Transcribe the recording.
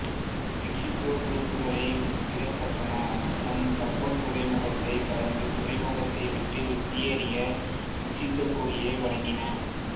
Mexico துருப்புக்களை விடுவிக்கப்பட்டன மற்றும் கப்பல் துறைமுகத்தை கடந்து துறைமுகத்தை விட்டு வெளியேறி மெக்ஸிகோகொடியை வணங்கின